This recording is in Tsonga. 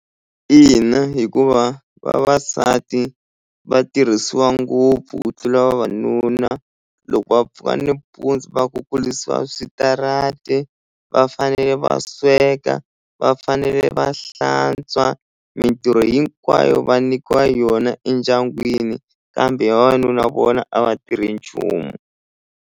Ina hikuva vavasati va tirhisiwa ngopfu ku tlula vavanuna loko va pfuka nimpundzu va kukulisiwa switarati va fanele va sweka va fanele va hlantswa mintirho hinkwayo va nyikiwa yona endyangwini kambe vavanuna vona a va tirhi nchumu.